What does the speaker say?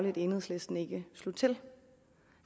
at enhedslisten ikke slog til